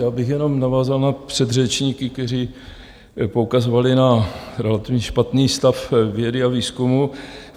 Já bych jenom navázal na předřečníky, kteří poukazovali na relativně špatný stav vědy a výzkumu.